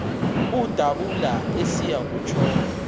udabula esiya kutshona